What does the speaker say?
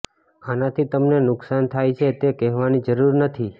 આનાથી તમને નુકસાન થાય છે તે કહેવાની જરૂર નથી